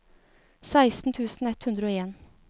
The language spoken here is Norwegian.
seksten tusen ett hundre og en